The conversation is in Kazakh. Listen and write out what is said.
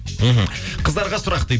мхм қыздарға сұрақ дейді